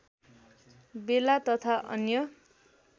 बेला तथा अन्य